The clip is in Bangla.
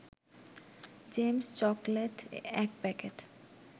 James chocolate ১ packet